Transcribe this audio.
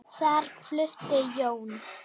Þar flutti Jón